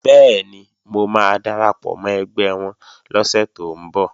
Bẹ́ẹ̀ni, mo máa darapọ̀ mọ́ ẹgbẹ́ wọn lọ́sẹ̀ tó ń bọ̀